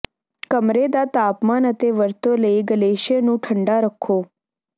ਕਮਰੇ ਦਾ ਤਾਪਮਾਨ ਅਤੇ ਵਰਤੋਂ ਲਈ ਗਲੇਸ਼ੇ ਨੂੰ ਠੰਡਾ ਰੱਖੋ